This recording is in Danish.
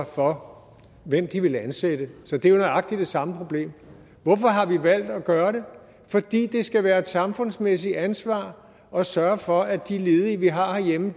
for hvem de vil ansætte så det er jo nøjagtig det samme problem hvorfor har vi valgt at gøre det fordi det skal være et samfundsmæssigt ansvar at sørge for at de ledige vi har herhjemme